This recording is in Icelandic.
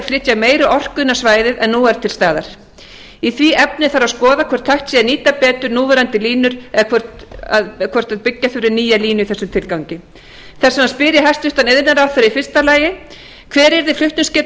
flytja meiri orku innan svæðis en nú er til staðar í því efni þarf að skoða hvort hægt sé að nýta betur núverandi línur eða hvort byggja þurfi nýja línu í þessum tilgangi þess vegna spyr ég hæstvirtur iðnaðarráðherra í fyrsta lagi hver yrði flutningsgeta